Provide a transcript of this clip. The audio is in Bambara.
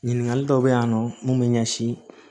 Ɲininkali dɔw bɛ yan nɔ mun bɛ ɲɛsin